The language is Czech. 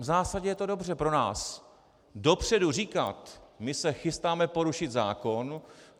V zásadě je to dobře pro nás, dopředu říkat: my se chystáme porušit zákon.